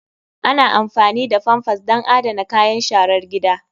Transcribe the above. Ana amfani da pampers don adana kayan sharar gida.